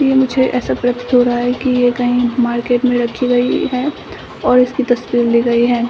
यह मुझे ऐसा प्रतीत हो रहा है कि यह कही मार्केट में रखी गई है और इसकी तस्वीर ली गई है।